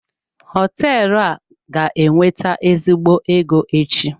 Họteelụ a ga-ewete ezigbo ego echi.